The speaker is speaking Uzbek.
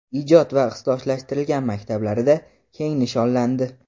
ijod va ixtisoslashtirilgan maktablarida keng nishonlandi.